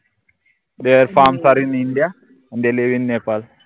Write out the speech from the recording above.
there are india and they live in Nepal